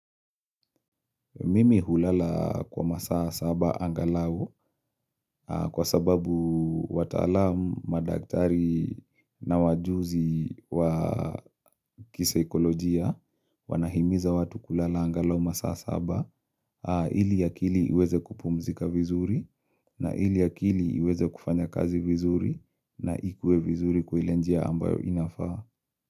Mimi hulala kwa masaa saba angalau kwa sababu wataalamu, madaktari na wajuzi wa kisaikolojia wanahimiza watu kulala angalau masaa saba ili akili iweze kupumzika vizuri na ili akili uweze kufanya kazi vizuri na ikue vizuri kwa ile njia ambayo inafaa.